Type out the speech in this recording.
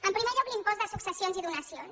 en primer lloc l’impost de successions i donacions